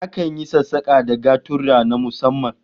Akan yi sassaka da gaturra na musamman